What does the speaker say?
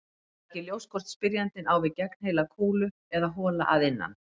Það er ekki ljóst hvort spyrjandinn á við gegnheila kúlu eða hola að innan.